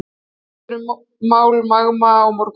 Fundur um mál Magma á morgun